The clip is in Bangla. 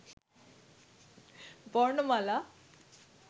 বর্ণমালা